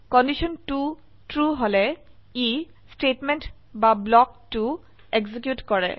condition 2 true হলে ই statement বা ব্লক 2 এক্সিকিউট কৰে